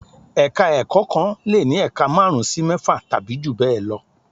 Ẹ̀ka-ẹ̀kọ́ kan lè ní ẹ̀ka márùn-ún sí mẹ́fà tàbí jù bẹ́ẹ̀ lọ.